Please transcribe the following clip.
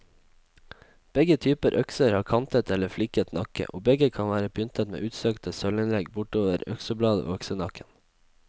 Begge typer økser har kantet eller fliket nakke, og begge kan være pyntet med utsøkte sølvinnlegg bortover øksebladet og øksenakken.